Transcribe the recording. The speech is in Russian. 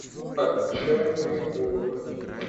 отчаянные головы